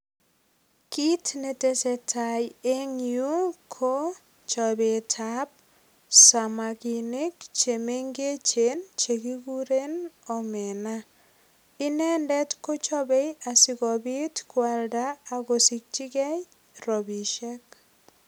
Kiit netese tai eng' yu ko chopetab samakinik chemengechen chekikuren omega inendet kochobei asikobit kwalda akesichigei robishek